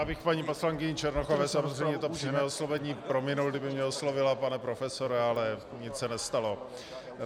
Já bych paní poslankyni Černochové samozřejmě to přímé oslovení prominul, kdyby mě oslovila pane profesore, ale nic se nestalo.